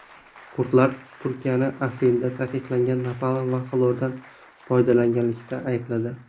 Kurdlar Turkiyani Afrinda taqiqlangan napalm va xlordan foydalanganlikda aybladi.